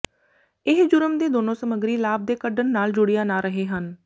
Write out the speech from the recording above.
ਇਹ ਜੁਰਮ ਦੇ ਦੋਨੋ ਸਮੱਗਰੀ ਲਾਭ ਦੇ ਕੱਢਣ ਨਾਲ ਜੁੜਿਆ ਨਾ ਰਹੇ ਹਨ